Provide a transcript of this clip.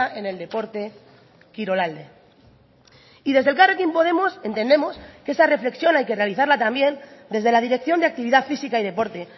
en el deporte kirolalde y desde elkarrekin podemos entendemos que esa reflexión hay que realizarla también desde la dirección de actividad física y deporte